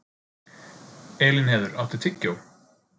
Elínheiður, áttu tyggjó?